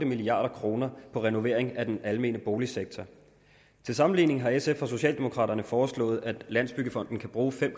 milliard kroner på renovering af den almene boligsektor til sammenligning har sf og socialdemokraterne foreslået at landsbyggefonden kan bruge fem